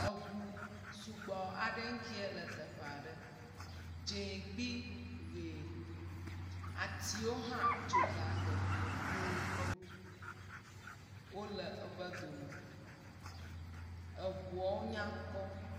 Eŋu sugbɔ aɖe ŋkeɛ le teƒa ɖe. Dzẽ kpli ʋee. Atiwo hã tso ga teƒeɛ ƒioo. Wole wobe dome. Eŋuɔ nya kpɔ.